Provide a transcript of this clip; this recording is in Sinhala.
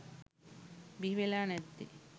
බිහි වෙලා නැත්තේ.